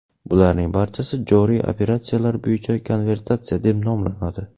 Bularning barchasi joriy operatsiyalar bo‘yicha konvertatsiya deb nomlanadi.